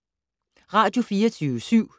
Radio24syv